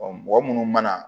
mɔgɔ munnu mana